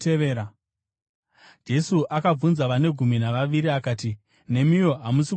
Jesu akabvunza vane gumi navaviri akati, “Nemiwo hamusi kuda kuenda here?”